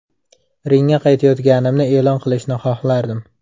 Ringga qaytayotganimni e’lon qilishni xohlardim.